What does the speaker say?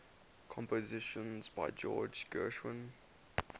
compositions by george gershwin